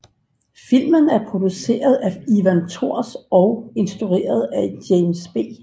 Filmen er produceret af Ivan Tors og instrueret af James B